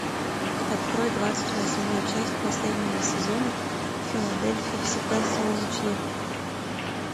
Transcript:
открой двадцать восьмую часть последнего сезона в филадельфии всегда солнечно